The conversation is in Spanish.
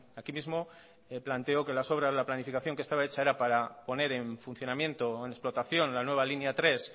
aquí mismo planteó que las obras la planificación que estaba hecha era para poner en funcionamiento en explotación la nueva línea tres